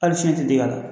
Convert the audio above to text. Hali fiɲɛ tɛ dig'a la